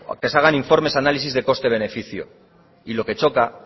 que se hagan informes o análisis de coste beneficio y lo que choca